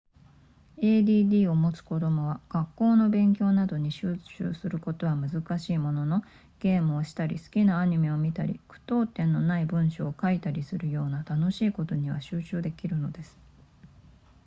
add を持つ子供は学校の勉強などに集中することは難しいもののゲームをしたり好きなアニメを見たり句読点のない文章を書いたりするような楽しいことには集中できるのです